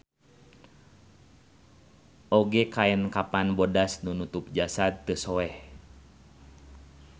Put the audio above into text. Oge kaen kapan bodas nu nutup jasad teu soeh.